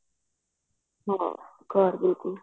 ਹਮ